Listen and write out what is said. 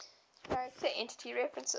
character entity references